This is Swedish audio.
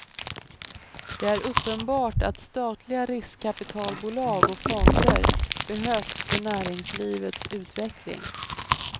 Det är uppenbart att statliga riskkapitalbolag och fonder behövs för näringslivets utveckling.